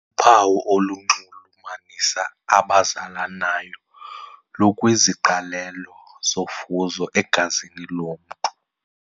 Uphawu olunxulumanisa abazalanayo lukwiziqalelo zofuzo egazini lomntu.